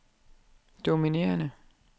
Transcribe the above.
dominerende